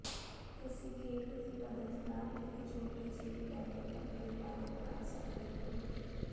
ਤੁਸੀਂ ਗੇਟ ਦੀ ਮਦਦ ਨਾਲ ਇਕ ਛੋਟੀ ਜਿਹੀ ਡੈਨੀਨਮ ਅਲਮਾਰੀ ਬਣਾ ਸਕਦੇ ਹੋ